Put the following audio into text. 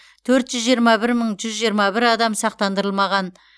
төрт жүз жиырма бір мың жүз жиырма бір адам сақтандырылмаған